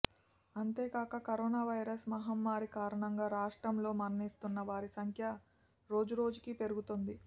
అంతేకాక corona virus మహమ్మారి కారణంగా రాష్ట్రం లో మరణిస్తున్న వారి సంఖ్య రోజురోజుకీ పెరుగుతోంది